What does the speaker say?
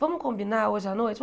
Vamos combinar hoje à noite?